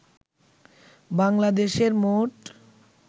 বাংলাদেশের মোট